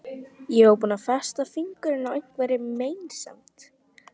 Ég var þá búin að festa fingur á einhverri meinsemd.